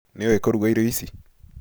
Nĩũĩ kũruga irio ici?